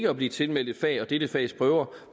at blive tilmeldt et fag og dette fags prøver